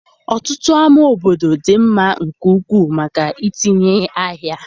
Ọtụtụ ámá obodo dị mma nke ukwuu maka itinye ahịa.